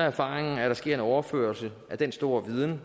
erfaringen at der sker en overførsel af den store viden